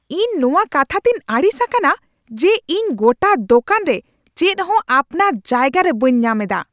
ᱤᱧ ᱱᱚᱣᱟ ᱠᱟᱛᱷᱟ ᱛᱮᱧ ᱟᱹᱲᱤᱥ ᱟᱠᱟᱱᱟ ᱡᱮ ᱤᱧ ᱜᱚᱴᱟ ᱫᱳᱠᱟᱱ ᱨᱮ ᱪᱮᱫᱦᱚᱸ ᱟᱯᱱᱟᱨ ᱡᱟᱭᱜᱟᱨᱮ ᱵᱟᱹᱧ ᱧᱟᱢ ᱮᱫᱟ ᱾